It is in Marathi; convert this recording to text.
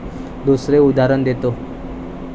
दुसरे उदाहरण देतो.